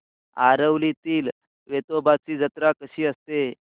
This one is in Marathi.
आरवलीतील वेतोबाची जत्रा कशी असते